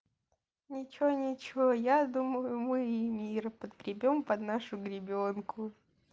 ничего-ничего я думаю мы и мира подгребём под нашу гребенку